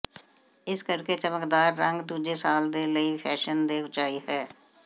ਇਸ ਕਰਕੇ ਚਮਕਦਾਰ ਰੰਗ ਦੂਜੇ ਸਾਲ ਦੇ ਲਈ ਫੈਸ਼ਨ ਦੇ ਉਚਾਈ ਹੈ